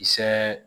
Kisɛ